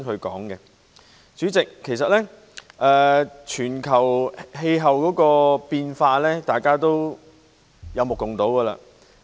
代理主席，全球氣候變化其實大家有目共睹。